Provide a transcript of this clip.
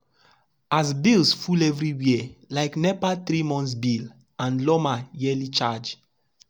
as bills full everywhere like nepa three-month bill and lawma yearly charge.